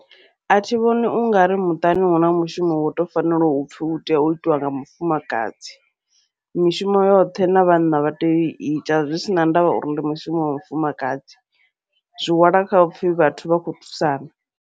Athi vhoni ungari muṱani huna mushumo une wo to fanela upfhi utea u itiwa nga mufumakadzi, mishumo yoṱhe na vhanna vha tea uiita zwi sina ndavha uri ndi mushumo wa mufumakadzi, zwi hwala kha upfhi vhathu vha kho thusana.